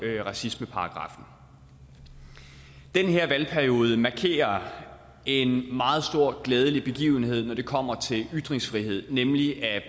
racismeparagraffen den her valgperiode markerer en meget stor glædelig begivenhed når det kommer til ytringsfrihed nemlig at